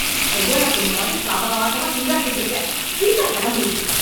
கல்யாணப் பொண்ணு மாதிரி சாவகாசமா சிங்காரிச்சுட்டு இருக்கே... சீக்கிரம் கெளம்புடீ...